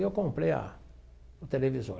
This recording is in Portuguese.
Eu comprei a o televisor.